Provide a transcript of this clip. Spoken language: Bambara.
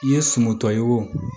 I ye sumuntɔ ye wo